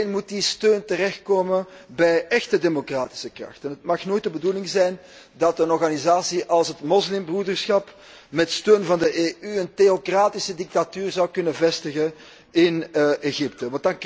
Alleen moet deze steun terechtkomen bij échte democratische krachten en het mag nooit de bedoeling zijn dat een organisatie als het Moslimbroederschap met steun van de EU een theocratische dictatuur zou kunnen vestigen in Egypte.